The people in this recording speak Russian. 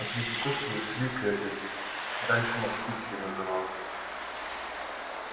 от третьяковки шли к этой раньше марксистской называлась